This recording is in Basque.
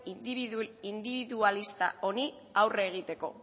indibidualista honi aurre egiteko